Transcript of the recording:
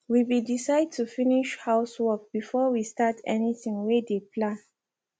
we be decide to finish housework before we start anything wey de plan